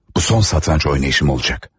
Bu son satranç oynayışım olacaq.